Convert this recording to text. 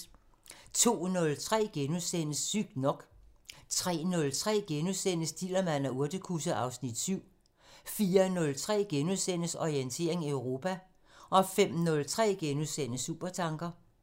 02:03: Sygt nok * 03:03: Dillermand og urtekusse (Afs. 7)* 04:03: Orientering Europa * 05:03: Supertanker *